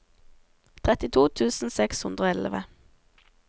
trettito tusen seks hundre og elleve